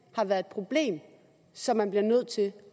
har været et problem så man bliver nødt til